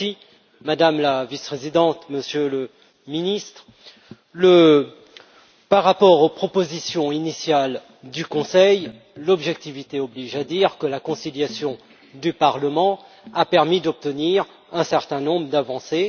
Monsieur le Président, Madame la Vice présidente, Monsieur le Ministre, par rapport aux propositions initiales du Conseil, l'objectivité oblige à dire que la conciliation du Parlement a permis d'obtenir un certain nombre d'avancées.